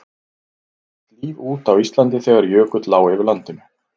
dó allt líf út á íslandi þegar jökull lá yfir landinu